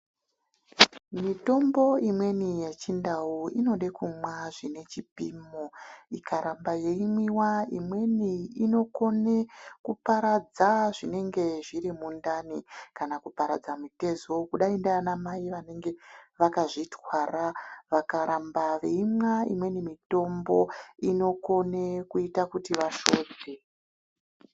Mitombo imweni yechindau inode kunwa zvine chipimo ikaramba yeimwiva imweni inokone kuparadza zvinenge zviri mundani. Kana kuparadza mitezo kudai ndianamai vanenge vakazvitwara vakaramba veimwa imweni mitombo inokone kuita kuti vashovhe.